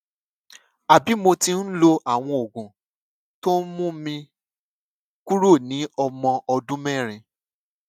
àbí mo ti ń lo àwọn oògùn tó ń mú mi kúrò ní ọmọ ọdún mẹrin